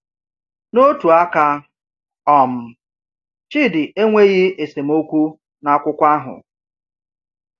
N’otu aka, um Chidi enweghi esemokwu na akwụkwọ ahụ.